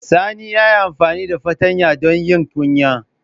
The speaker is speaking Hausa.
Sani ya yi amfani da fartanya don yin kunya.